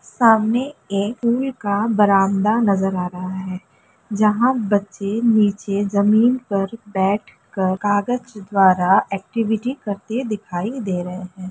सामने एक का बरामदा नजर आ रहा है जहा बच्चे नीचे जमीन पर बैठ कर कागज द्वारा ऐक्टिविटी करते दिखाई दे रहे है।